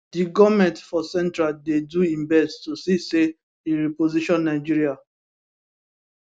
di goment for central dey do im best to see say e reposition nigeria